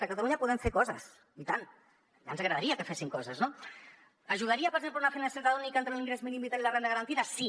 a catalunya podem fer coses i tant ja ens agradaria que fessin coses no hi ajudaria per exemple una finestreta única entre l’ingrés mínim vital i la renda garantida sí